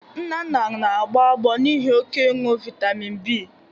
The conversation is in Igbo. Nnanna na-agbọ agbọ n'ihi oke ịñụ vitamin B